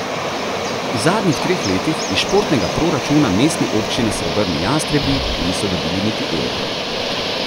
V zadnjih treh letih iz športnega proračuna mestne občine srebrni jastrebi niso dobili niti evra.